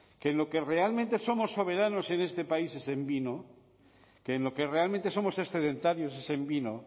que en lo que realmente somos soberanos en este país es en vino que en lo que realmente somos excedentarios es en vino